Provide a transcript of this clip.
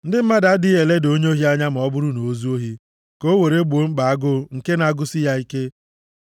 Ndị mmadụ adịghị eleda onye ohi anya ma ọ bụrụ na o zuo ohi ka o were gboo mkpa agụụ nke na-agụsị ya ike.